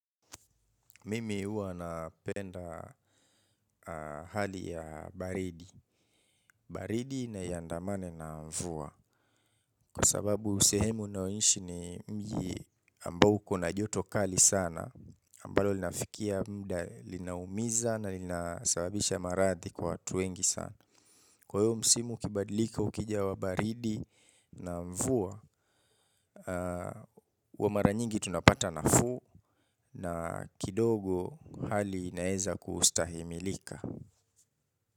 Mimi huwa napenda hali ya baridi. Baridi na iandamane na mvua. Kwa sababu, sehemu ninaoishi ni mji ambao kuna joto kali sana ambalo linafikia muda linaumiza na linasababisha maradhi kwa watu wengi sana. Kwa hivyo, msimu ukibadilika ukija wa baridi na mvua. Kwa mara nyingi tunapata nafuu na kidogo hali inaweza kustahimilika.